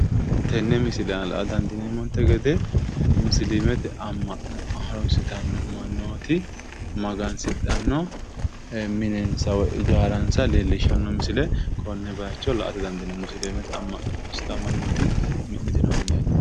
Tenne misile aana la'a dandiineemmonte gede musiliimete amma'no harunsitanno mannooti magansidhanno minensa woyi ijaaransa leellishsanno misile konne baayicho la'ate dandiineemmo. musiliimete amma'no harunsitanno mannooti mi'nitino mineeti.